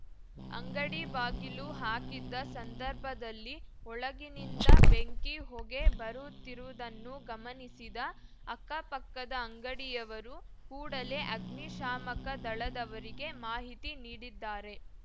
ಅಂಗಡಿ ಬಾಗಿಲು ಹಾಕಿದ್ದ ಸಂದರ್ಭದಲ್ಲಿ ಒಳಗಿನಿಂದ ಬೆಂಕಿ ಹೊಗೆ ಬರುತ್ತಿರುವುದನ್ನು ಗಮನಿಸಿದ ಅಕ್ಕಪಕ್ಕದ ಅಂಗಡಿಯವರು ಕೂಡಲೇ ಅಗ್ನಿಶಾಮಕ ದಳದವರಿಗೆ ಮಾಹಿತಿ ನೀಡಿದ್ದಾರೆ